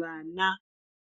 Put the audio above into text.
Vana